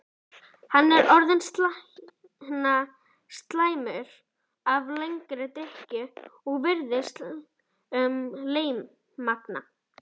Hann er orðinn slæptur af langri drykkju og virðist lémagna.